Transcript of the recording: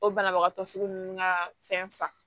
O banabagatɔ sugu nunnu ka fɛn fa